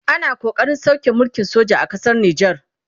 ana ƙoƙarin sauke mulkin soja a ƙasar nijar